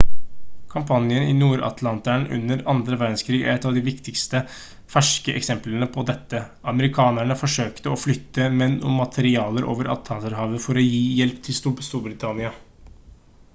kampanjen i nord-atlanteren under andre verdenskrig er et av de viktigste ferske eksemplene på dette amerikanerne forsøkte å flytte menn og materialer over atlanterhavet for å gi hjelp til storbritannia